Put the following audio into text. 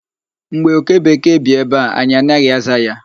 Mgbe oke bekee bi ebe a, anyị anaghị aza ya.